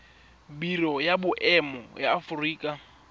biro ya boemo ya aforika